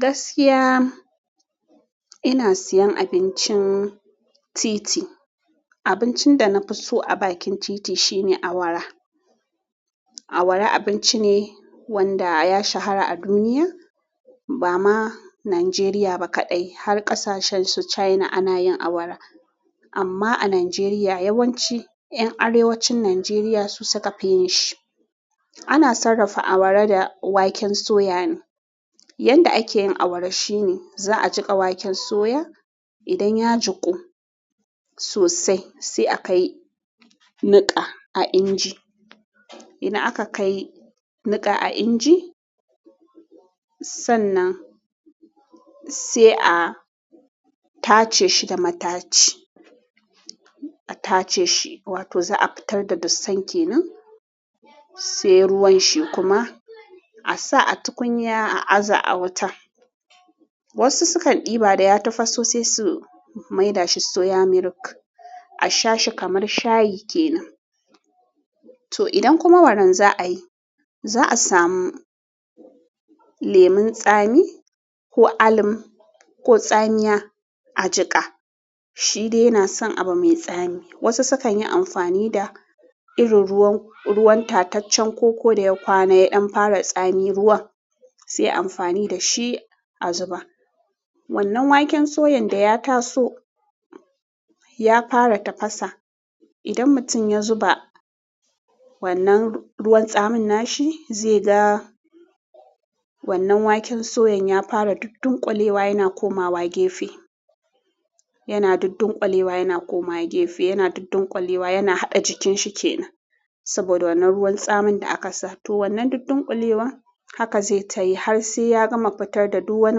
Gaskiya, ina siyan abincin titi. Abincin da na fi so a bakin titi shine awara. Awara abinci ne wanda ya shahara a duniya, ba ma Najeriya ba kaɗai. Har ƙasashen su China ana yin awara. Amma a Najeriya yawanci ƴan arewacin Najeriya su suka fi yin shi. Ana sarrafa awara da waken soya ne. Yanda ake yin awara shine za a jiƙa waken soya. Idan ya jiku sosai sai akai niƙa a inji. Idan aka kai niƙa a inji, sannan sai a tace shi da mataci. A tace shi, wato za a fitar da dusan ke nan, sai ruwan shi kuma a sa a tukunya a aza a wuta. Wasu sukan ɗiba da ya tafaso, sai su maida shi soya milk a sha shi kamar shayi ke nan. To idan kuma waran za'a yi, za'a samu lemun tsami ko alum ko tsamiya a jiƙa. Shi dai yana son abu mai tsami. Wasu su kan yi amfani da irin ruwan, ruwan tataccen koko da ya kwana, ya fara tsami ruwan sai ayi amfani da shi a zuba. Wannan waken soyan da ya taso ya fara tafasa. Idan mutum ya zuba wannan ruwan tsamin nashi zai ga wannan waken soyan ya fara duddunkulewa, yana komawa gefe, yana duddunkulewa, yana komowa gefe, yana duddunkulewa. Yana haɗa jikin shi ke nan. Saboda wannan ruwan tsamin da aka sa to. Wannan duddunkulewar haka zai tayi har sai ya gama fitar da duk wani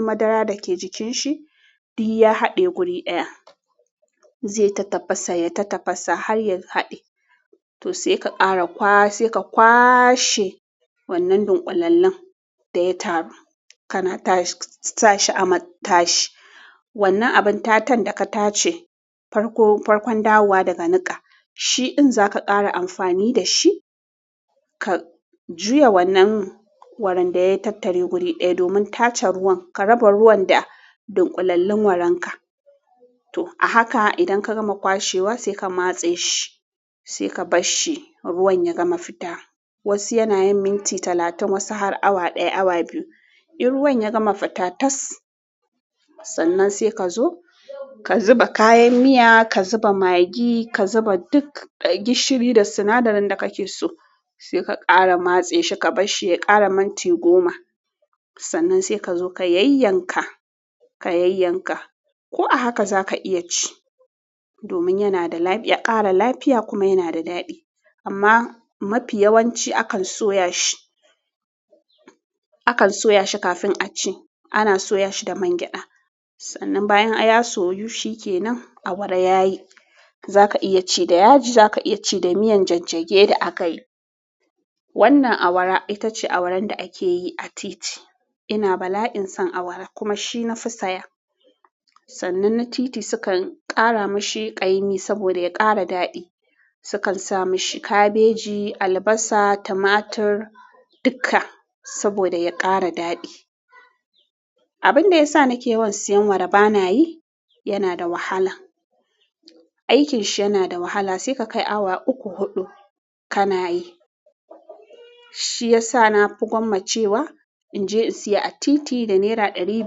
madara da ke jikin shi. Duk ya haɗe guri ɗaya, zai ta tafasa, ya ta tafasa har ya haɗe. To sai ka ƙara kwas, sai ka kwashe wannan dunƙulallun da ya taru. Kana tashi, sa shi a matashi. Wannan abin tatan da ka tace, farko, farkon dawowa daga niƙa. Shi din zaka ƙara amfani da shi, ka juya wannan waran da ya tattare guri ɗaya. Domin tace ruwan, ka raba ruwan da dunƙulallun waran ka. To a haka idan ka gama kwashewa sai ka matse shi, sai ka bar shi ruwan ya gama fita. Wasu yana yin minti talatin, wasu har awa ɗaya, awa biyu. In ruwan ya gama fita tas, sannan sai ka zo ka zuba kayan miya, ka zuba magi, ka zuba duk gishiri da sinadarin da kake so. Sai ka ƙara matse shi, ka bar shi ya ƙara minti goma. Sannan sai ka zo ka yayyanka, ka yayyanka. Ko a haka za ka iya ci. Domin yana da lafi-- ya ƙara lafiya kuma yana da daɗi. Amma mafi yawanci akan soya shi, akan soya shi kafin a ci. Ana soya shi da man gyaɗa. Sannan bayan ya soyu shikenan awara yayi. Za ka iya ci da yaji, za ka iya ci da miyan jajjage da aka yi. Wannan awara ita ce awaran da ake yi a titi. Ina bala'in son awara kuma shi na fi saya. Sannan na titi su kan ƙara mashi ƙaimi saboda ya ƙara daɗi. Su kan sa mashi kabeji, albasa, tumatur duka saboda ya ƙara daɗi. Abin da ya sa nake yawan siyan awara bana yi, yana da wahala. Aikin shi yana da wahala. Sai ka kai awa uku, huɗu ka na yi. Shi ya sa na fi gwammace wa in je in siya a titi da naira ɗari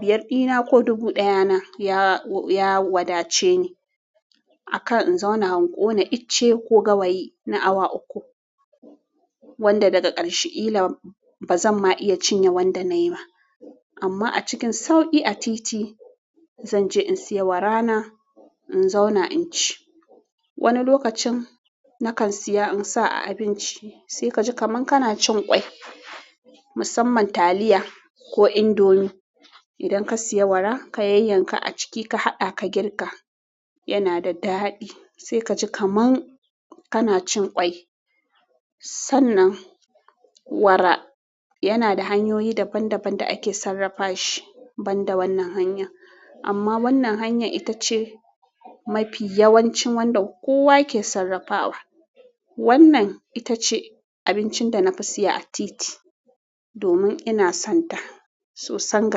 biyar ɗina ko dubu ɗaya na ya, ya wadace ni. A kan in zauna in kona icce ko gawayi na awa uku, wanda daga ƙarshe kila ba zan ma iya cinye wanda nayi ba. Amma a cikin sauƙi a titi, zan je in siya awara na, in zauna in ci. Wani lokacin na kan siya in sa a abinci. Sai ka ji kaman kana cin ƙwai, musamman taliya ko indomi. Idan ka siya awara, ka yanyanka a ciki, ka haɗa ka girka, yana da daɗi. Sai ka ji kaman kana cin ƙwai. Sannan awara yana da hanyoyi daban daban da ake sarrafa shi banda wannan hanya. Amma wannan hanyar ita ce mafi yawancin wanda kowa ke sarrafa wa. Wannan ita ce abincin da na fi siya a titi domin ina son ta sosai.